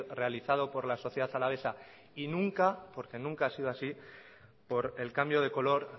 realizado por la sociedad alavesa y nunca porque nunca ha sido así por el cambio de color